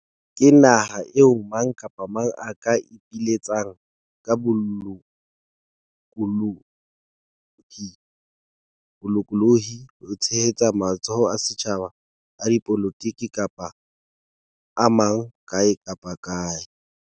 Ke naha eo mang kapa mang a ka ipiletsang ka bolokolohi ho tshehetsa matsholo a setjhaba, a dipolotiki kapa a mang kae kapa kae.